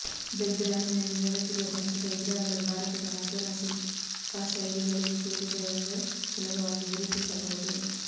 ಬೆಗ್ರಾಮಿನಲ್ಲಿ ದೊರಕಿರುವ ದಂತದ ವಿಗ್ರಹಗಳು ಭಾರತದ ಮಥುರಾ ಶಿಲ್ಪಶೈಲಿಗಳಿಗೆ ಸೇರಿದವೆಂದು ಸುಲಭವಾಗಿ ಗುರುತಿಸಬಹುದು